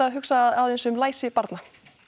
hugsa aðeins um læsi barna